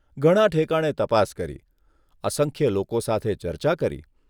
ઘણાં ઠેકાણે તપાસ કરી, અસંખ્ય લોકો સાથે ચર્ચા કરી.